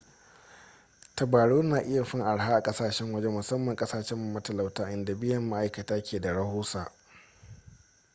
tabarau na iya fin araha a kasashen waje musamman kasashe matalauta inda biyan ma'aikata ke da rahusa